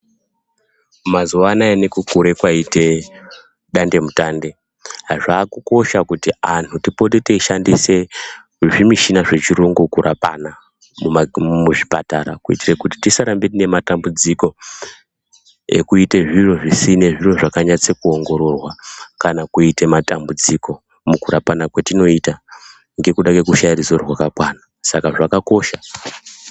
Mazuwa anaya nekukura kwayita dandemutande, zvakukosha kuti anhu tipote teyishandise zvimichina zvechiyungu kurapana muzvipatara ,kuyitire kuti tisaramba tine matambudziko ekuyite zviro zvisine, zvisine kunyatsoongororwa, kana kuyita matambudziko mukurapana kwatinoyita ngekuda kwekushaya ruzivo rwakakwana, Saka zvakakosha.